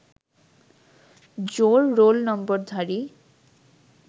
জোড় রোল নম্বরধারী